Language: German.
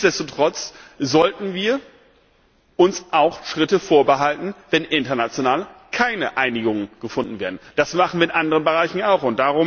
Nichtsdestotrotz sollten wir uns auch Schritte vorbehalten, wenn international keine Einigungen gefunden werden, das machen wir mit anderen Bereichen ja auch.